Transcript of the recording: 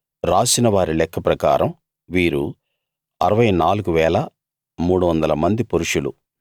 రాసిన వారి లెక్క ప్రకారం వీరు 64 300 మంది పురుషులు